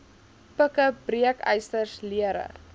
pikke breekysters lere